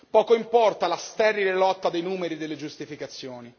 poco importa la sterile lotta dei numeri e delle giustificazioni.